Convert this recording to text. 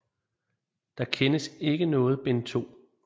Der kendes ikke noget bind 2